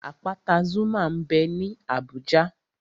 Àpáta Zuma m bẹ ní Abùjá